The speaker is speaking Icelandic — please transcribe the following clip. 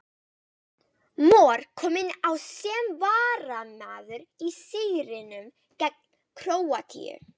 Mor kom inn á sem varamaður í sigrinum gegn Króatíu.